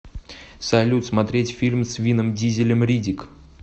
салют смотреть фильм с винном дизелем риддик